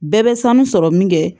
Bɛɛ bɛ sanu sɔrɔ min kɛ